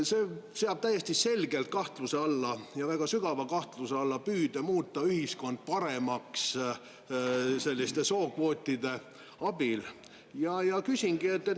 See seab täiesti selgelt kahtluse alla ja väga sügava kahtluse alla püüde muuta ühiskonda paremaks selliste sookvootide abil.